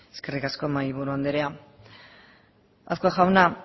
eskerrik asko mahaiburu andrea azkue jauna